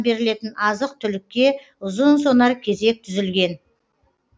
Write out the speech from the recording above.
берілетін азық түлікке ұзын сонар кезек түзілген